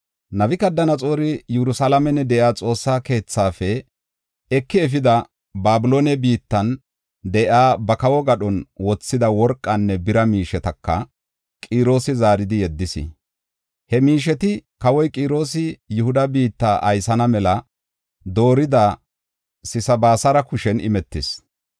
Nabukadanaxoori Yerusalaamen de7iya Xoossa keethaafe eki efidi, Babiloone biittan de7iya ba kawo gadhon wothida worqanne bira miishetaka Qiroosi zaaridi yeddis. He miisheti kawoy Qiroosi Yihuda biitta aysana mela doorida Sesabisaara kushen imetis.